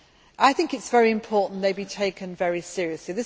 I think it is very important they be taken very seriously.